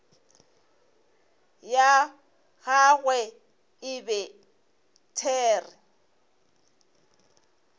ya gagwe e be there